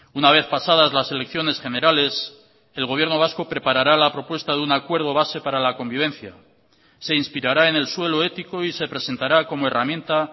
una vez pasadas las elecciones generales el gobierno vasco preparará la propuesta de un acuerdo base para la convivencia se inspirará en el suelo ético y se presentará como herramienta